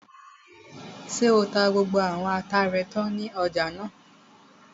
Ṣé o ti ta gbogbo àwọn ata rẹ tán ní ọjà náà?